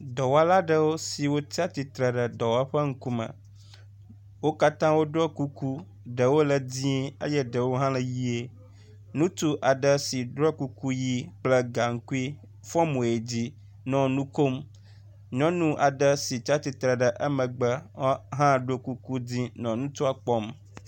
Dɔwɔla ɖewo siwo tsi atsitre ɖe dɔwɔƒe ŋkume. Wo katã woɖɔ kuku ɖewo le dzi eye ɖewo hã le ʋie. Ŋutsu aɖe si ɖɔ kuku ʋi kple gaŋkui fɔ mo yi dzi nɔ nu kom. Nyɔnu aɖe si tsi astitre ɖe emegbe wɔ hã ɖo kuku dzi nɔ ŋutsua kpɔm.